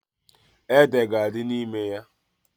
Ede ga-adị n'ime ya.